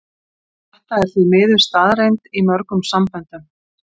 Þetta er því miður staðreynd í mörgum samböndum.